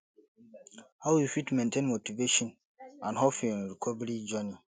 how you fit maintain motivation and hope in recovery journey